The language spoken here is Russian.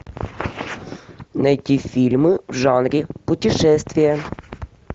найти фильмы в жанре путешествия